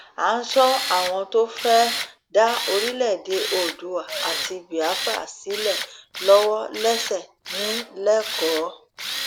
a ń sọ àwọn tó fẹẹ dá orílẹèdè oodua àti biafra sílẹ lọwọ lẹsẹ ní lẹkọọ